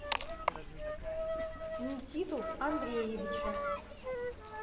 никиту андреевича